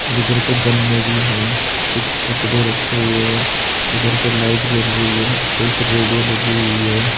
इधर पे गन्ने भी है कुछ कपड़े रखे हुए है उधर पर लाइट जल रही है एक रेडियो लगी हुई है।